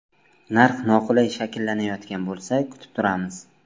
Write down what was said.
Narx noqulay shakllanayotgan bo‘lsa kutib turamiz.